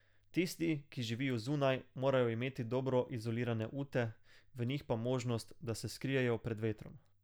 Tisti, ki živijo zunaj, morajo imeti dobro izolirane ute, v njih pa možnost, da se skrijejo pred vetrom.